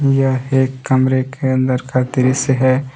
यह एक कमरे के अंदर का दृस्य है।